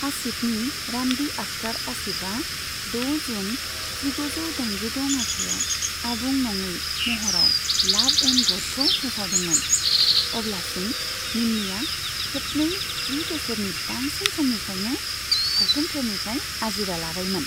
आसिफनि रान्दि आख्तार आसिफआ द' जुन जिगुजौ दाइनजिद' मायथाइयाव आबुं नङै महराव लाभ एन्ड ग'डखौ फोसावदोंमोन, अब्लासिम निम्मीया खेबनै जि बोसोरनि बांसिन समनिफ्रायनो सावथुनफोरनिफ्राय आजिरा लाबायमोन।